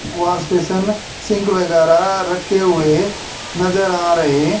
wash basin sink वगैरह रखे हुए नजर आ रहे--